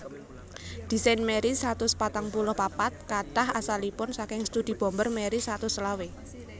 Désain Marry satus patang puluh papat katah asalipun saking studi bomber Marry satus selawe